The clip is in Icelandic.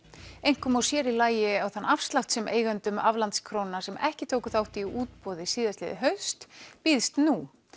einkum og sér í lagi á þann afslátt sem eigendum aflandskróna sem ekki tóku þátt í útboði síðastliðið haust bjóðast nú